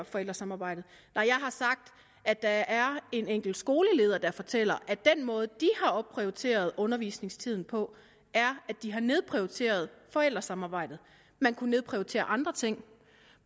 forældresamarbejdet nej jeg har sagt at der er en enkelt skoleleder der fortæller at den måde de har opprioriteret undervisningstiden på er at de har nedprioriteret forældresamarbejdet man kunne nedprioritere andre ting